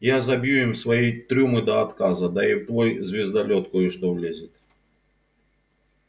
я забью им свои трюмы до отказа да и в твой звездолёт кое-что влезет